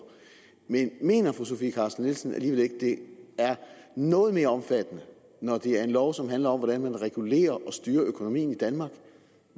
men mener fru sofie carsten nielsen alligevel ikke det er noget mere omfattende når det er en lov som handler om hvordan man regulerer og styrer økonomien i danmark